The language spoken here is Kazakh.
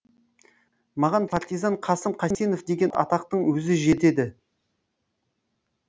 маған партизан қасым қайсенов деген атақтың өзі жетеді